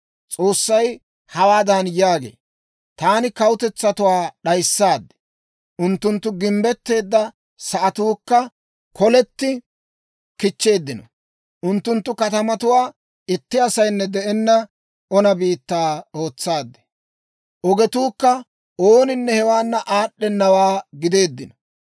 S'oossay hawaadan yaagee; «Taani kawutetsatuwaa d'ayissaad; unttunttu gimbbetteedda sa'atuukka koletti kichcheeddino. Unttunttu katamatuwaa itti asaynne de'enna ona biittaa ootsaad; ogetuukka ooninne hewaana aad'd'enawaa gideeddino.